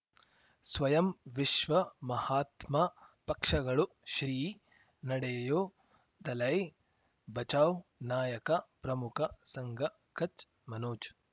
ಸ್ವಯಂ ವಿಶ್ವ ಮಹಾತ್ಮ ಪಕ್ಷಗಳು ಶ್ರೀ ನಡೆಯೂ ದಲೈ ಬಚೌ ನಾಯಕ ಪ್ರಮುಖ ಸಂಘ ಕಚ್ ಮನೋಜ್